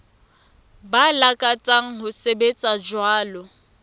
ba lakatsang ho sebetsa jwalo